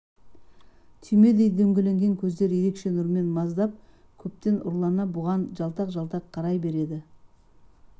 түймедей дөңгеленген көздері ерекше нұрмен маздап көптен ұрлана бұған жалтақ-жалтақ қарай береді